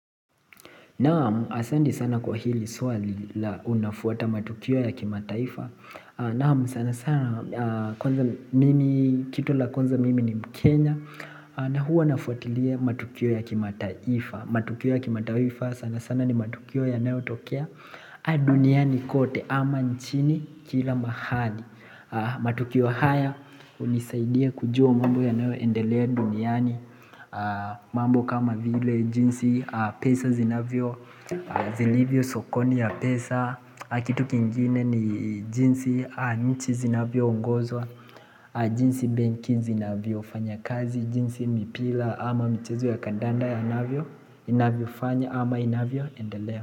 Naam, asante sana kwa hili swali la, unafuata matukio ya kimataifa? Naam, sana sana kwanza mimi, kitu la kwanza mimi ni mkenya na huwa nafuatilia matukio ya kimataifa. Matukio ya kimataifa sana sana ni matukio yanayotokea duniani kote ama nchini kila mahali. Matukio haya hunisaidia kujua mambo yanayoendelea duniani mambo kama vile jinsi pesa zinavyo zilivyo sokoni ya pesa Kitu kingine ni jinsi nchi zinavyoongozwa. Jinsi benki zinavyofanya kazi. Jinsi mipira ama michezo ya kandanda yanavyo inavyo lfanya ama inavyoendelea.